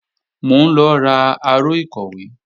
Mò ń lọ ra aró ìkọ̀wé